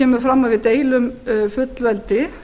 kemur fram að við deilum fullveldi